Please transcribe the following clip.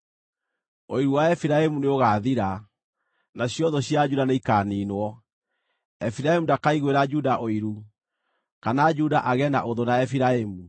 Ũiru wa Efiraimu nĩũgaathira, nacio thũ cia Juda nĩikaaniinwo; Efiraimu ndakaiguĩra Juda ũiru, kana Juda agĩe na ũthũ na Efiraimu.